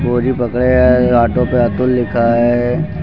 बोरी पकड़े हैं ऑटो पे अतुल लिखा है।